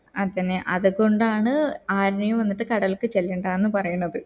അതെന്നെ അത് കൊണ്ടാണ് ആരെയും വന്നിട്ട് കടൽക്ക് ചെല്ലണ്ടന്നു പറയുന്നത്